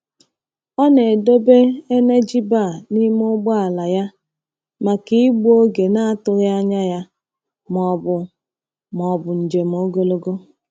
Ọ na-edobe energy bar n’ime ụgbọala ya maka igbu oge na-atụghị anya ya ma ọ bụ ma ọ bụ njem ogologo.